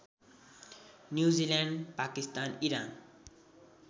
New Zealand Pakistan Iran